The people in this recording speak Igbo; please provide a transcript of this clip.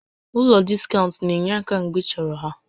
Ụlọ diskaụnt na-enye aka mgbe ịchọrọ ha